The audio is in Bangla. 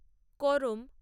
করম